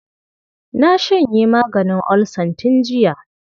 Na shanye maganin olsan tun jiya.